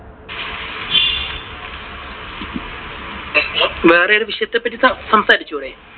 വേറെ വിഷയത്തെ പറ്റി സംസാരിച്ചൂടെ?